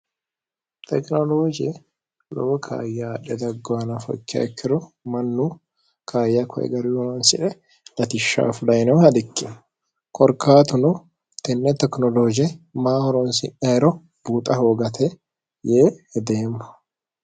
tekinolooje lobo kaayyaadhe daggowana fokakkiro mannu kayya koegarihoronsi're latishshaafu dayinehu had ikki korkaatuno tenne tekinolooje maahoroonsieero buuxa hoogate yee hedeemmo